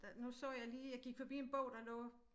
Der nu så jeg lige jeg gik forbi en bog der lå